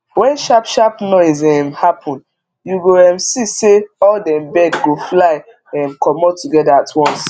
wen sharp sharp noise um happen you go um see say all dem bird go fly um comot together at once